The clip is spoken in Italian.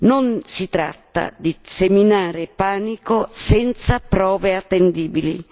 Non si tratta di seminare panico senza prove attendibili.